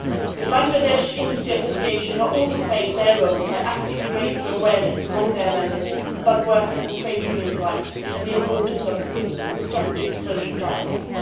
The Bangladesh Industry Association is also playing its role by actively raising awareness among its members of workers' and trade union rights and the importance of a constructive social dialogue.